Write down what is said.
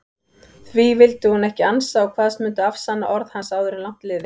Því vildi hún ekki ansa og kvaðst mundu afsanna orð hans áður langt liði.